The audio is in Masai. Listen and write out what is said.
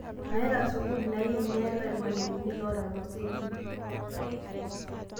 Meetea sukuul naim meeta lmalimuni loota losekin